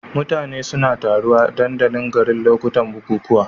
Mutane suna taruwa a dandalin garin a lokacin bukukuwa.